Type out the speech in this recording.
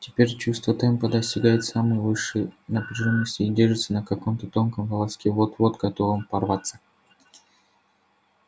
теперь чувство темпа достигает самой высшей напряжённости и держится на каком-то тонком волоске вот-вот готовом порваться